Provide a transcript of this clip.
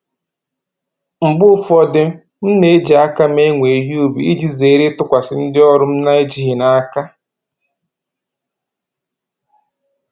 Mgbe ụfọdụ m na-eji aka m ewe ihe ubi iji zere ịtụkwasị ndị ọrụ m na-ejighị n'aka